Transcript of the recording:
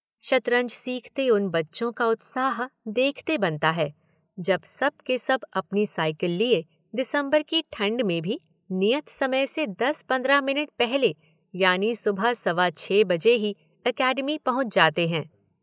शतरंज सीखते उन बच्चों का उत्साह देखते बनता है जब सब के सब अपनी साइकिल लिए दिसंबर की ठंड में भी नियत समय से दस-पंद्रह मिनट पहले यानी सुबह सवा छह बजे ही एकेडमी पहुंच जाते हैं।